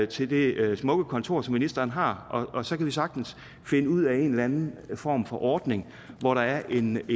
til det smukke kontor som ministeren har og så kan vi sagtens finde ud af en eller anden form for ordning hvor der er en